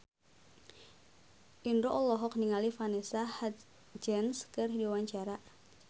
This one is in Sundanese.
Indro olohok ningali Vanessa Hudgens keur diwawancara